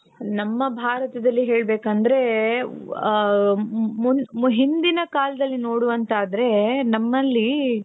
ನಮ್ಮ ಭಾರತದಲ್ಲಿ ಹೇಳ್ಬೇಕಂದ್ರೆ ಹ ಹ ಮು ಮು ಹಿಂದಿನ ಕಾಲದಲ್ಲಿ ನೋಡುವಂತಾದರೆ ನಮ್ಮಲ್ಲಿ .